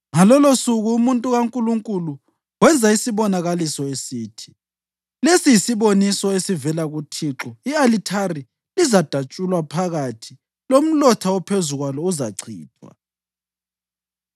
Ngalolosuku umuntu kaNkulunkulu wenza isibonakaliso esithi: “Lesi yisiboniso esivela kuThixo: I-alithari lizadatshulwa phakathi lomlotha ophezu kwalo uzachithwa.”